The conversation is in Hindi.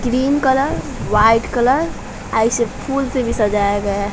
ग्रीन कलर व्हाइट कलर अ इसे फुल से भी सजाया गया--